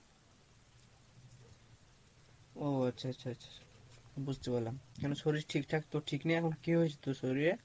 ও আচ্ছা আচ্ছা আচ্ছা, বুঝতে পারলাম কেনো শরীর ঠিক ঠাক তোর, ঠিক নেই এখন কী হয়েছে তোর শরীরে?